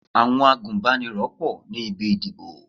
Àwọn agùnbánirọ̀ pọ̀ ní ibi ìdìbò.